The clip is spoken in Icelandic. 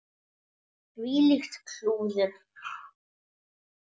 Þvílíkt klúður.